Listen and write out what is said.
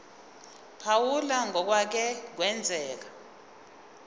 phawula ngokwake kwenzeka